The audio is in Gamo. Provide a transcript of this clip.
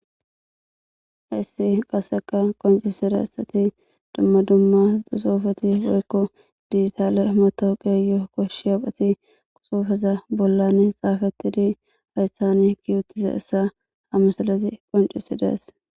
Issi qasseka qoncisira issati dumma dumma dusofeti boykko digitaale motooqeyo koshshi haphati qusofeza bollan xaafetidi ayssani kiyutise issa hamasalezi qoncisidees